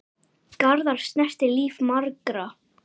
Garðar snerti líf margra.